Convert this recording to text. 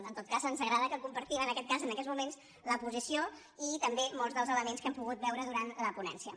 en tot cas ens agrada que compartim en aquest cas en aquests moments la posició i també molts dels elements que hem pogut veure durant la ponència